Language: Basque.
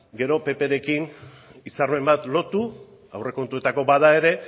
gero pprekin hitzarmen bat lotu aurrekontuetako bada ere